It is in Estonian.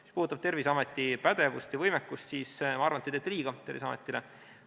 Mis puudutab Terviseameti pädevust ja võimekust, siis ma arvan, et te teete Terviseametile liiga.